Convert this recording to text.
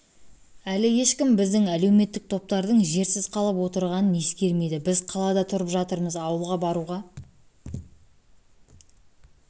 әлі ешкім біздің әлеуметтік топтардың жерсіз қалып отырғанын ескермейді біз қалада тұрып жатырмыз ауылға баруға